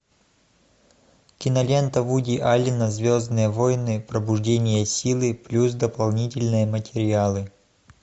кинолента вуди аллена звездные войны пробуждение силы плюс дополнительные материалы